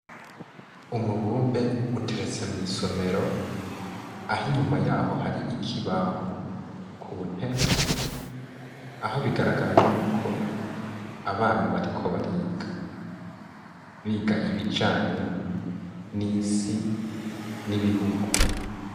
Umubumbe uteretse mwisomero aho inyuma yaho hari ikibaho ku ntebe aho bigaragara yuko abana bariko bariga, biga ibijanye n'isi n'ibihugu.